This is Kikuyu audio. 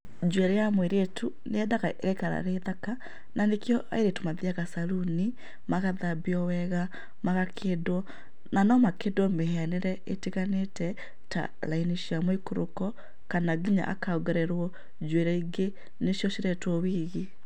Njuĩrĩ ya mũirĩtu nĩyendaga ĩgaikara ĩrĩ thaka, na nĩkĩo airĩtu mathiyaga saruni magathambio wega magakĩndwo na no makĩndwo mĩhianĩre ĩtiganĩte ta raini cia mũikũrũko kana nginya akaongererwo njuĩrĩ ingĩ nĩcĩo ciretwo wigi.